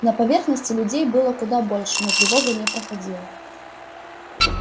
на поверхности людей было куда больше но тревога не проходила